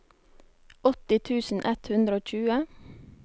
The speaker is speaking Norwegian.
åtti tusen ett hundre og tjue